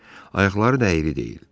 Ayaqları da əyri deyil.